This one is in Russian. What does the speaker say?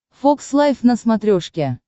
фокс лайф на смотрешке